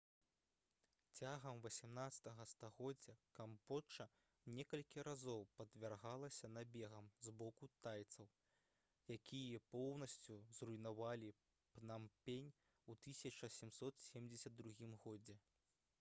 цягам 18-га стагоддзя камбоджа некалькі разоў падвяргалася набегам з боку тайцаў якія поўнасцю зруйнавалі пнампень у 1772 годзе